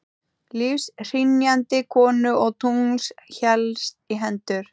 Lífshrynjandi konu og tungls helst í hendur.